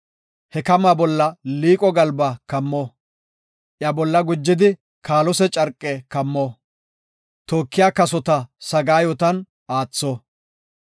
He kamaa bolla liiqo galba kammo; iya bolla gujidi kaalose carqe kammo; tookiya kasota sagaayotan aatho.